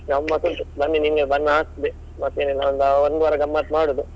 ಗಮ್ಮತ್ ಉಂಟು ಬನ್ನಿ ನಿಮ್ಗೆ ಆಗ್ತದೆ ಮತ್ತೆ ನಾವು ಒಂದು ವಾರ ಗಮ್ಮತ್ ಮಾಡುದು.